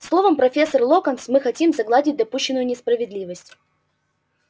словом профессор локонс мы хотим загладить допущенную несправедливость